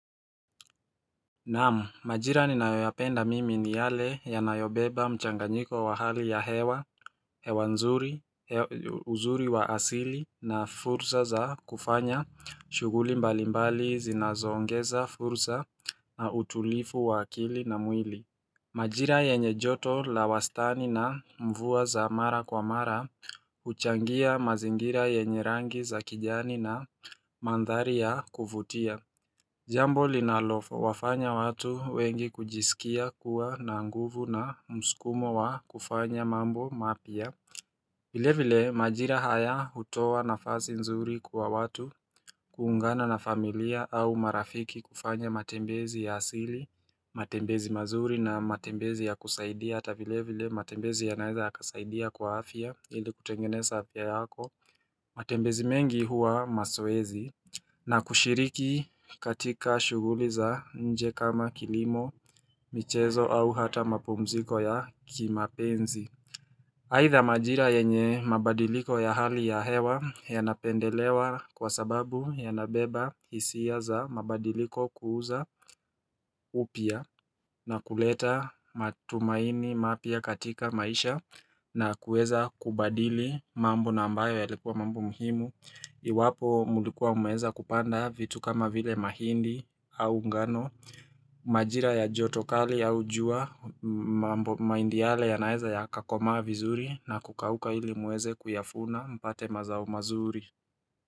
Naam, majira ninayoyapenda mimi ni yale yanayobeba mchanganyiko wa hali ya hewa, hewa nzuri, uzuri wa asili na fursa za kufanya, shughuli mbali mbali zinazo ongeza fursa na utulifu wa akili na mwili. Majira yenye joto la wastani na mvua za mara kwa mara, huchangia mazingira yenye rangi za kijani na mandhari ya kuvutia. Jambo linalo wafanya watu wengi kujisikia kuwa na nguvu na muskumo wa kufanya mambo mapya vile vile majira haya hutoa nafasi nzuri kwa watu, kuungana na familia au marafiki kufanya matembezi ya asili matembezi mazuri na matembezi ya kusaidia hata vile vile matembezi ya naeza ya kasaidia kwa afya ili kutengeneza afya yako matembezi mengi huwa maswezi na kushiriki katika shughuli za nje kama kilimo, michezo au hata mapumziko ya kimapenzi aidha majira yenye mabadiliko ya hali ya hewa yanapendelewa kwa sababu yanabeba hisia za mabadiliko kuuza upya na kuleta matumaini mapya katika maisha na kueza kubadili mambo na ambayo yalikuwa mambo muhimu Iwapo mlikuwa mume weza kupanda vitu kama vile mahindi au ngano Majira ya joto kali au jua mambo mahindi yale yanaeza yakakomaa vizuri na kukauka ili muweze kuyafuna mpate mazao mazuri.